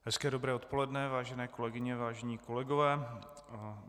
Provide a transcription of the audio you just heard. Hezké dobré odpoledne, vážené kolegyně, vážení kolegové.